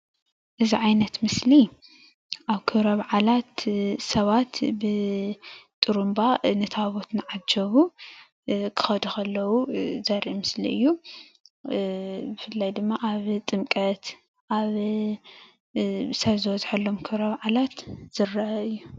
እዚ ዓይነት ምስሊ አብ ክብረ በዓላት ስባት ብጥሩባ ንታቦት እናዓጀቡ ክከዱ ከለው ዘርኢ ምስሊ እዩ፡፡ ብፍላይ ድማ ኣብ ጥምቀት አብ ስብ ዝበዝሐሎም ክብረ በዓላት ዝረአ እዩ፡፡